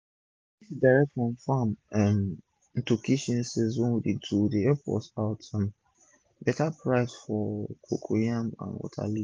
dis direct from farm um to kitchen sale wey i dey do dey epp me out um beta price for my cocoyam and water leaf